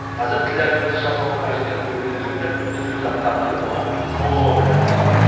қазір тілләгүл қыз жасауына қажетті көрпе төсекті түрлі заттарды тігіп оны саудалаумен айналысуда